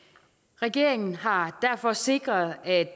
regeringen har derfor sikret at